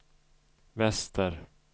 väster